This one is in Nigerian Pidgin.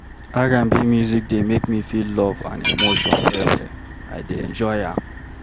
R&B music dey make me feel love and emotion well-well, I dey enjoy am.